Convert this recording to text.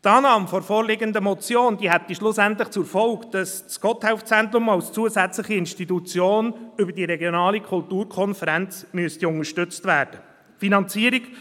Die Annahme der vorliegenden Motion hätte schlussendlich zur Folge, dass das GotthelfZentrum als zusätzliche Institution über die regionale Kulturkonferenz unterstützt werden müsste.